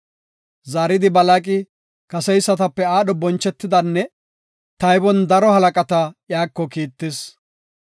Zaaridi Balaaqi kaseysatape aadho bonchetidanne taybon daro halaqata iyako kiittis.